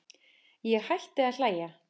Ég hætti að hlæja.